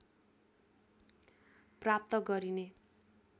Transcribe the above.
प्राप्त गरिने